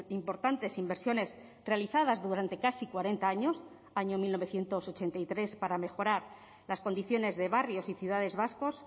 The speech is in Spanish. importantes inversiones realizadas durante casi cuarenta años año mil novecientos ochenta y tres para mejorar las condiciones de barrios y ciudades vascos